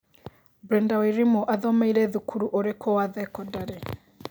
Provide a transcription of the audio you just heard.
Brenda Wairimu athomĩire thukuru ũrikũ wa thekondari